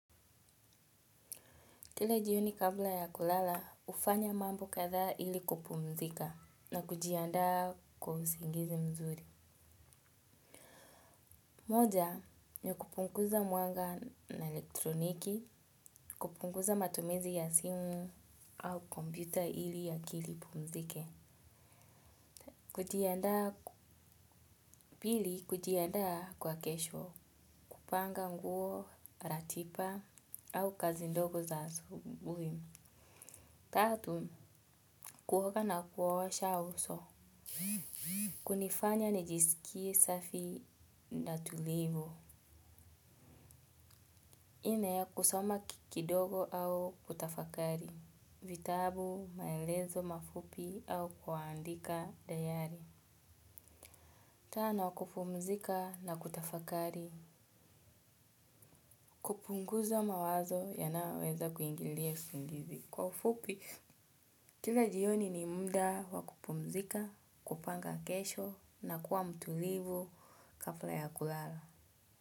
Kila jioni kabla ya kulala, hufanya mambo kadhaa ili kupumzika na kujiandaa kwa usingizi mzuri. Moja, ni ya kupunguza mwanga na elektroniki, kupunguza matumizi ya simu au kompyuta ili akili ipumzike. Kujiandaa pili, kujiandaa kwa kesho, kupanga nguo, ratiba au kazi ndogo za asubuhi. Tatu, kuoga na kuosha uso. Kunifanya nijisikie safi na tulivu. Nne ya kusoma ki kidogo au kutafakari vitabu maelezo mafupi au kuandika dayari. Tano wa kupumzika na kutafakari. Kupunguza mawazo yanayoweza kuingilia usingizi kwa ufupi. Kila jioni ni mda wa kupumzika, kupanga kesho na kuwa mtulivu kabla ya kulala. Kwa hivyo.